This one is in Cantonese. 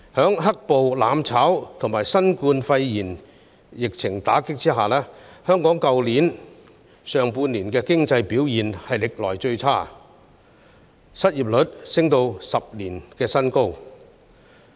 在"黑暴"、"攬炒"及新冠肺炎疫情的打擊下，香港去年上半年的經濟表現歷來最差，失業率升至10年新高。